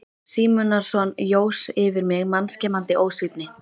Símonarson jós yfir mig mannskemmandi ósvífni.